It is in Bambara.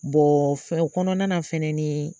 Bon fɛ o kɔnɔna na fɛnɛni